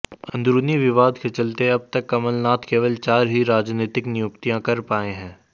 अंदरूनी विवाद के चलते अब तक कमलनाथ केवल चार ही राजनीतिक नियुक्तियां कर पाए हैं